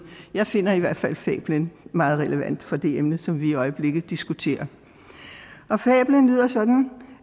jeg finder i hvert fald fablen meget relevant for det emne som vi i øjeblikket diskuterer fablen lyder sådan